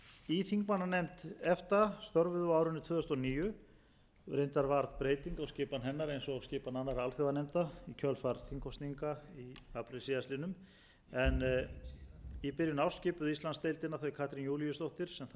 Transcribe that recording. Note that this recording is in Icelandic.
í þingmannanefnd efta störfuðu á árinu tvö þúsund og níu reyndar varð breyting á skipan hennar eins og á skipan annarra alþjóðanefnda í kjölfar þingkosninga í apríl síðastliðnum en í byrjun árs skipuðu íslandsdeildina þau katrín júlíusdóttir sem þá var formaður